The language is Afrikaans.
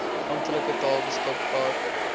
amptelike tale beskikbaar